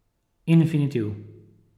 Infinitiv ...